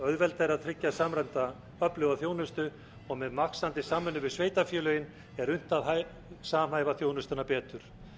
auðveldara verður að tryggja samræmda öfluga þjónustu og með vaxandi samvinnu við sveitarfélögin er unnt að samhæfa þjónustuna betur